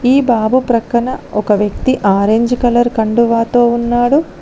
ఈ బాబు ప్రక్కన ఒక వ్యక్తి ఆరెంజ్ కలర్ కండువాతో ఉన్నాడు.